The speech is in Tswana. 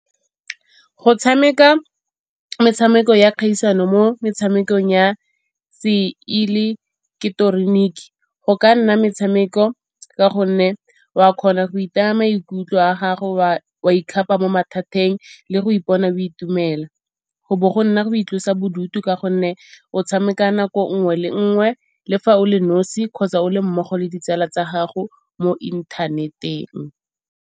Go tshameka metshameko ya kgaisano mo metshamekong ya seileketeroniki go ka nna metshameko ka gonne wa kgona go itaya maikutlo a gago wa ikgapa mo mathateng le go ipona o itumela. Go bo go nna go itlosa bodutu ka gonne o tshameka nako nngwe le nngwe le fa o le nosi kgotsa o le mmogo le ditsala tsa gago mo inthaneteng.